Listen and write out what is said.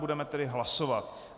Budeme tedy hlasovat.